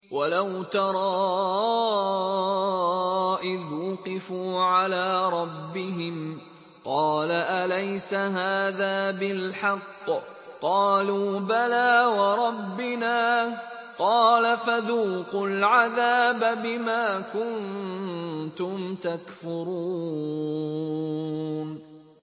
وَلَوْ تَرَىٰ إِذْ وُقِفُوا عَلَىٰ رَبِّهِمْ ۚ قَالَ أَلَيْسَ هَٰذَا بِالْحَقِّ ۚ قَالُوا بَلَىٰ وَرَبِّنَا ۚ قَالَ فَذُوقُوا الْعَذَابَ بِمَا كُنتُمْ تَكْفُرُونَ